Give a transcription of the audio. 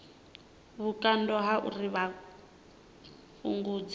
vhukando ha uri a fhungudze